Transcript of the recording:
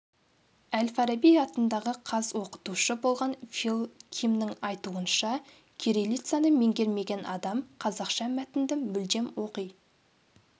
әл-фараби атындағы қаз оқытушы болған фил кимнің айтуынша кирилицаны меңгермеген адам қазақша мәтінді мүлдем оқи